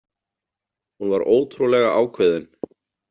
Hún var ótrúlega ákveðin.